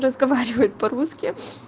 разговаривает по-русски